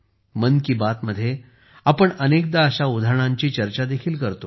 मन की बात मध्ये आपण अनेकदा अशा उदाहरणांची चर्चा देखील करतो